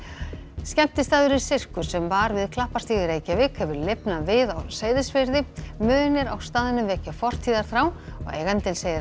skemmtistaðurinn Sirkus sem var við Klapparstíg í Reykjavík hefur lifnað við á Seyðisfirði munir á staðnum vekja fortíðarþrá og eigandinn segir að